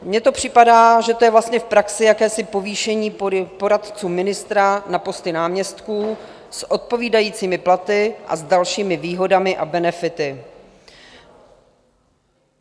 Mně to připadá, že to je vlastně v praxi jakési povýšení poradců ministra na posty náměstků s odpovídajícími platy a s dalšími výhodami a benefity.